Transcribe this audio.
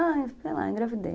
Ai, sei lá, engravidei.